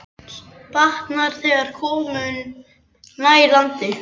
Batnar, þegar komum nær landi.